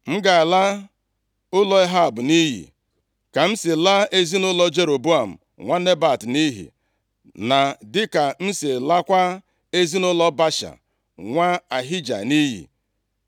M ga-ala ụlọ Ehab nʼiyi, ka m si laa ezinaụlọ Jeroboam nwa Nebat nʼiyi, na dịka m si lakwaa ezinaụlọ Baasha, nwa Ahija nʼiyi.